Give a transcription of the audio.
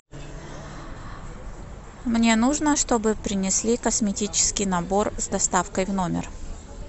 мне нужно чтобы принесли косметический набор с доставкой в номер